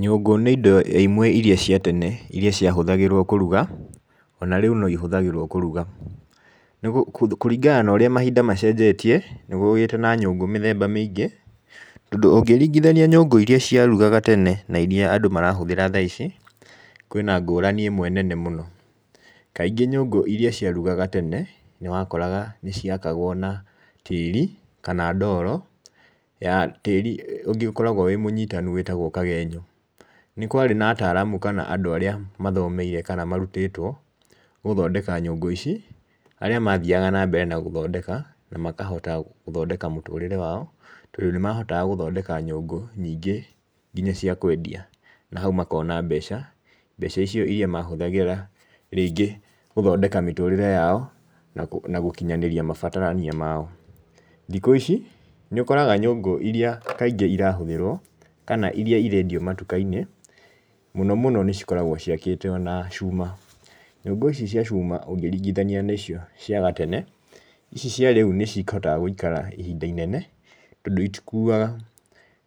Nyũngũ nĩ indo imwe irĩa cia tene irĩa ciahũthagĩrwo kũruga ona rĩu noihũthagĩrwo kũruga. Kũringana na ũrĩa mahinda macenjetie nĩ kũgĩte na nyũngũ mĩthemba mĩingĩ tondũ ũngĩringithania na nyũngũ irĩa cia rugaga tene na irĩa andũ marahũthĩra thaa ici, kwĩna ngũrani ĩmwe nene mũno. Kaingĩ nyũngũ irĩa cia rugaga tene nĩwakoraga nĩ ciakagwo na tĩri kana ndoro ya tĩri ũngĩ ũkoragwo wĩmũnyitanu mũno wĩtagwo kagenyo. Nĩ kwarĩ na ataaramu kana andũ arĩa mathomeire kana marutĩtwo gũthondeka nyũngũ ici arĩa mathiaga na mbere gũthondeka na makahota gũthondeka mũtũrĩre wao tondũ nĩ mahotaga gũthondeka nyũngũ nyingĩ nginya cia kwendia na hau makona mbeca. Mbeca icio irĩa mahũthagĩra rĩngĩ gũthondeka mĩtũrĩre yao na gũkinyanĩria mabatarwo mao. Thikũ ici nĩũkoraga nyũngũ irĩa kaingĩ ira hũthĩrwo kana irĩa irendio matuka -inĩ mũno mũno nĩcikoragwo ciakĩtwo na cuma, nyũngũ ici cia ciuma ũngĩringithania na icio cia gatene ici cia rĩu nicihotaga gũikara ihinda inene tondũ itĩkuaga.